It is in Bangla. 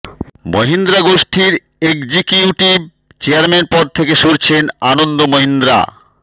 মহিন্দ্রা গোষ্ঠীর একজিকিউটিভ চেয়ারম্যান পদ থেকে সরছেন আনন্দ মহিন্দ্রা